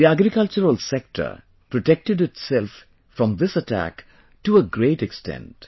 The agricultural sector protected itself from this attack to a great extent